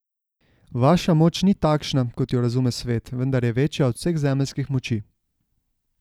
Vaša moč ni takšna, kot jo razume svet, vendar je večja od vseh zemeljskih moči.